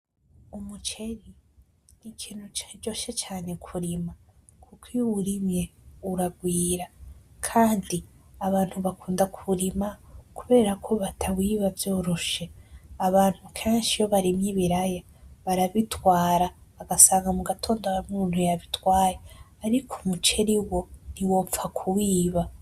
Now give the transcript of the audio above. Umuceri ni ikintu caryoshe cane kurima, kuko iyo uwurimye uragwira kandi abantu bakunda kuwurima kubera ko batawiba vyoroshe. Abantu kenshi iyo barimye ibiraya barabitwara bagasanga mu gatondo hari umuntu yabitwaye, ariko umuceri wo ntiwopfa kuwiba.